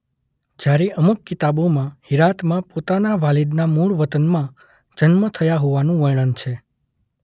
જયારે અમુક કિતાબોમાં હિરાતમાં પોતાના વાલિદના મૂળ વતનમાં જન્મ થયો હોવાનું વર્ણન છે.